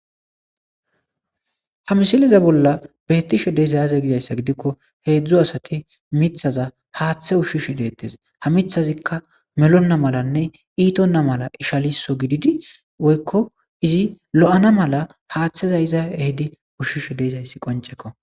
ha misileza bolla beettishe deezayaze gizayssa gidikko heedzdzo asati mithaza haaththe ushshishe deettes ha mithazikka melonna malanne iitonna mala ishaliso gididi woykko izi lo7ana mala haaththeza iza ehedi ushshishe deezayssi qoncekko